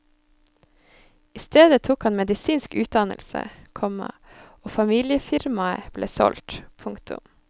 I stedet tok han medisinsk utdannelse, komma og familiefirmaet ble solgt. punktum